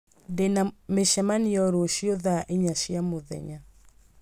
ndĩ na mĩcemanio rũciũ thaa inya cia mũthenya